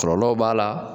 Kɔlɔlɔw b'a la